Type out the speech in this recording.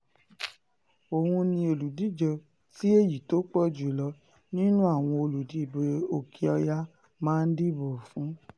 òun ni olùdíje tí èyí tó pọ̀ jù lọ nínú àwọn olùdìbò òkè-ọ̀yà máa dìbò fún